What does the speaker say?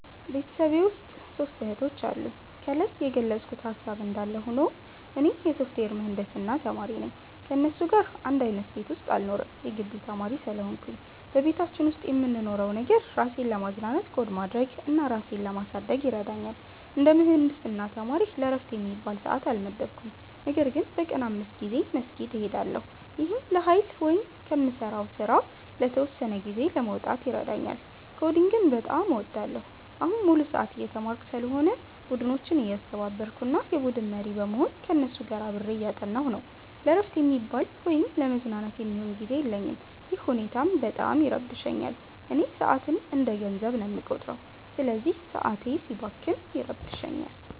ቤተሰቤ ውስጥ ሦስት እህቶች አሉኝ። ከላይ የገለጽኩት ሃሳብ እንዳለ ሆኖ፣ እኔ የሶፍትዌር ምህንድስና ተማሪ ነኝ። ከእነሱ ጋር አንድ አይነት ቤት ውስጥ አልኖርም የጊቢ ተማሪ ስለሆንኩኝ። በቤታችን ውስጥ የምንኖረው ነገር፣ ራሴን ለማዝናናት ኮድ ማድረግ እና ራሴን ለማሳደግ ይረዳኛል። እንደ ምህንድስና ተማሪ ለዕረፍት የሚባል ሰዓት አልመደብኩም፤ ነገር ግን በቀን 5 ጊዜ መስጊድ እሄዳለሁ። ይህም ለኃይል ወይም ከምሠራው ሥራ ለተወሰነ ጊዜ ለመውጣት ይረዳኛል። ኮዲንግን በጣም እወዳለሁ። አሁን ሙሉ ሰዓት እየተማርኩ ስለሆነ፣ ቡድኖችን እያስተባበርኩ እና የቡድን መሪ በመሆን ከእነሱ ጋር አብሬ እያጠናሁ ነው። ለዕረፍት የሚባል ወይም ለመዝናናት የሚሆን ጊዜ የለኝም፤ ይህ ሁኔታም በጣም ይረብሸኛል። እኔ ሰዓትን እንደ ገንዘብ ነው የምቆጥረው፤ ስለዚህ ሰዓቴ ሲባክን ይረብሸኛል